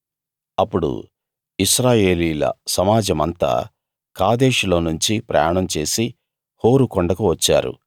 అప్పుడు ఇశ్రాయేలీయుల సమాజమంతా కాదేషులోనుంచి ప్రయాణం చేసి హోరు కొండకు వచ్చారు